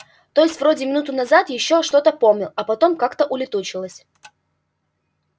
то есть вроде минуту назад ещё что-то помнил а потом как-то улетучилось